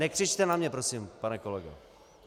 Nekřičte na mě prosím, pane kolego.